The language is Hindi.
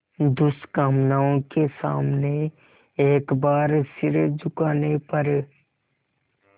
दुष्कामनाओं के सामने एक बार सिर झुकाने पर